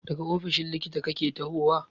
Daga ofishin likitan kake tahowa?